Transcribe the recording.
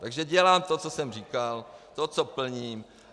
Takže dělám to, co jsem říkal, to co plním.